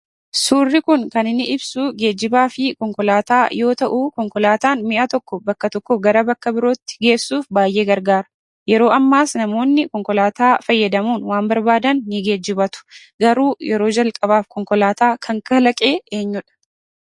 Suurri kun kan inni ibsuu geejjibaa fi konkolaataa yoo ta'uu konkolaataan mi'a tokko bakka tokkoo gara bakka birootti geessuuf baay'ee gargaara. Yeroo ammaas namoonni konkolaataa fayyadamuun waan barbaadan ni geejjibatu. Garuu yeroo jalqabaaf konkolaataa kan kalaqee eenyudha?